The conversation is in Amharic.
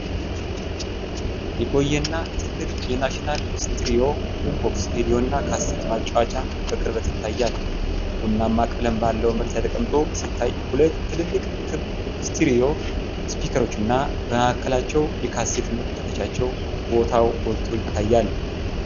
የቆየና ትልቅ፣ የ'ናሽናል' ስቴሪዮ ቡምቦክስ ሬዲዮና ካሴት ማጫወቻ በቅርበት ይታያል። ቡናማ ቀለም ባለው መሬት ላይ ተቀምጦ ሲታይ፣ ሁለት ትልልቅ ክብ ስቴሪዮ ስፒከሮችና በመካከላቸው የካሴት መክተቻው ቦታ ጎልተው ይታያሉ።